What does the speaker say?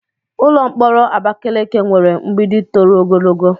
Ụlọ mkpọrọ Abakeleke nwere mgbidi toro ogologo.